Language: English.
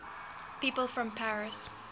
people from paris